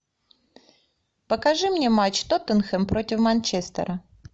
покажи мне матч тоттенхэм против манчестера